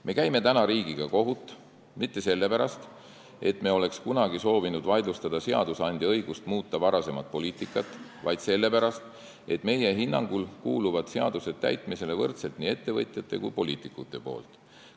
Me ei käi täna riigiga kohut mitte sellepärast, et me oleks kunagi soovinud vaidlustada seadusandja õigust muuta varasemat poliitikat, vaid sellepärast, et meie hinnangul kuuluvad seadused täitmisele võrdselt nii ettevõtjate kui ka poliitikute poolt.